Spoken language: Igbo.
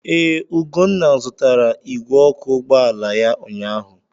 Ee, Ugonna zụtara igwe ọkụ ụgbọala ya ụnyaahụ.